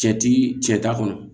Cɛ ti cɛ ta kɔnɔ